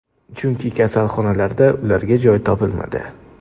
Chunki kasalxonalarda ularga joy topilmadi.